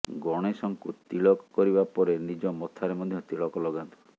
ଗଣେଶଙ୍କୁ ତିଳକ କରିବା ପରେ ନିଜ ମଥାରେ ମଧ୍ୟ ତିଳକ ଲଗାନ୍ତୁ